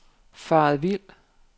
faret vild